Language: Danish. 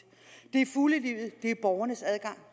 det er fuglelivet det er borgernes adgang